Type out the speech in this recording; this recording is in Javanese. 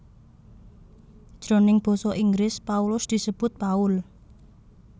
Jroning basa Inggris Paulus disebut Paul